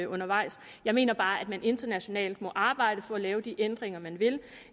undervejs jeg mener bare at man internationalt må arbejde for at lave de ændringer man vil